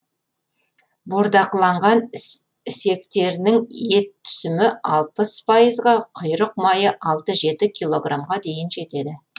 бордақыланған ісектерінің ет түсімі алпыс пайызға құйрық майы алты жеті килограммға дейін жетеді